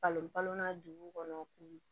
Falen balon dugu kɔnɔ k'u